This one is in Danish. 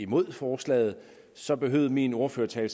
mod forslaget så behøvede min ordførertale